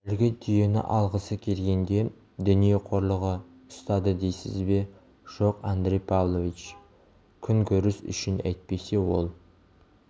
әлгі түйені алғысы келгенде дүние қорлығы ұстады дейсіз бе жоқ андрей павлович күнкөріс үшін әйтпесе ол